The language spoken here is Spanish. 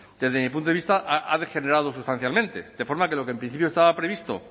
desde mi punto de vista ha degenerado sustancialmente de forma que lo que en principio estaba previsto